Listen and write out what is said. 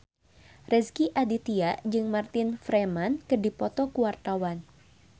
Rezky Aditya jeung Martin Freeman keur dipoto ku wartawan